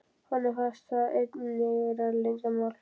Honum fannst það eiginlega vera leyndarmál.